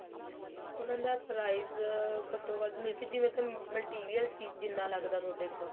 ਉਹਨਾ ਦਾ price ਘੱਟੋ ਘੱਟ ਮਤਲਬ ਕੀ ਜਿਵੇਂ material ਜਿੰਨਾ ਲੱਗਦਾ ਤੁਹਾਡੇ ਕੋਲ